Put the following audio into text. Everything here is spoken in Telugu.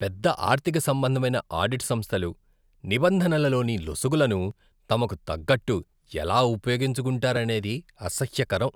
పెద్ద ఆర్థికసంబంధమైన ఆడిట్ సంస్థలు నిబంధనలలోని లొసుగులను తమకు తగ్గట్టు ఎలా ఉపయోగించుకుంటారనేది అసహ్యకరం.